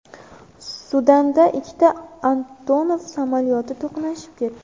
Sudanda ikkita Antonov samolyoti to‘qnashib ketdi .